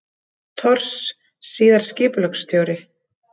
Thors, síðar skipulagsstjóri.